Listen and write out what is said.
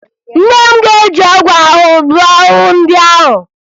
Nne m ga-eji ọgwụ ahụhụ gbuo ahụhụ ndị ahụ